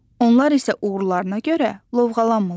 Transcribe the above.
Onlar isə uğurlarına görə lovğalanmırlar.